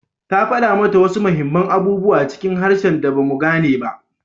Ta fada mata wasu muhimman abubuwa cikin harshen da ba mu gane ba